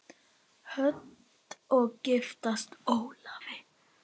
Hödd: Og giftast Ólafi?